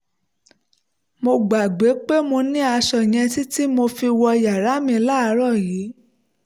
mo gbàgbé pé mo ní aṣọ yẹn títí tí mo fi wo inú yàrá mi láàárọ̀ yìí